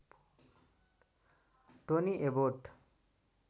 Tony Abbott